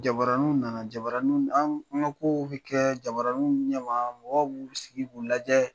Jabarinw nana jabaninw an an ka ko kow bi kɛ jabarinw ɲɛma mɔgɔ b'u sigi k'u lajɛ